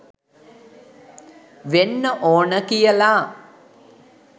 වෙන්න ඕන කියලා.